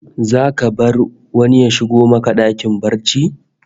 Zaka bar wani ya shigo maka dakin barci?